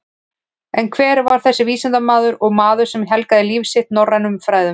En hver var þessi vísindamaður og maður sem helgaði líf sitt norrænum fræðum?